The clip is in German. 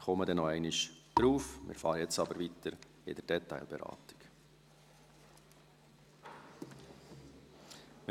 » Ich komme darauf zurück, jetzt fahren wir aber mit der Detailberatung fort.